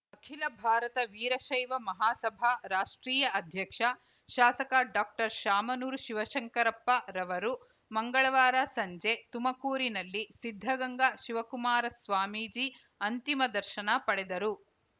ಅಖಿಲ ಭಾರತ ವೀರಶೈವ ಮಹಾಸಭಾ ರಾಷ್ಟ್ರೀಯ ಅಧ್ಯಕ್ಷ ಶಾಸಕ ಡಾಕ್ಟರ್ಶಾಮನೂರು ಶಿವಶಂಕರಪ್ಪರವರು ಮಂಗಳವಾರ ಸಂಜೆ ತುಮಕೂರಿನಲ್ಲಿ ಸಿದ್ಧಗಂಗಾ ಶಿವಕುಮಾರ ಸ್ವಾಮೀಜಿ ಅಂತಿಮ ದರ್ಶನ ಪಡೆದರು